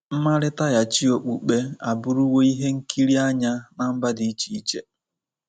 Mmalitaghachi okpukpe abụrụwo ihe nkiri anya ná mba dị iche-iche.